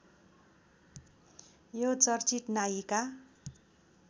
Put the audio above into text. यो चर्चित नायिका